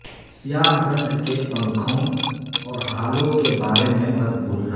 سیاہ رنگ کے پنکھوں اور ہالو کے بارے میں مت بھولنا